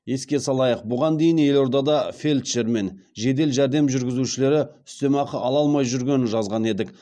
еске салайық бұған дейін елордада фельдшер мен жедел жәрдем жүргізушілері үстемақы ала алмай жүргенін жазған едік